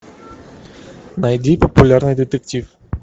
найди популярный детектив